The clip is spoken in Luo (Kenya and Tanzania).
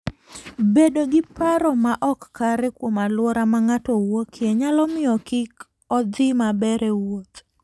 Bedo gi paro ma ok kare kuom alwora ma ng'ato wuokie, nyalo miyo kik odhi maber e wuoth.